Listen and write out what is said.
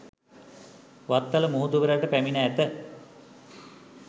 වත්තල මුහුදු වෙරළට පැමිණ ඇත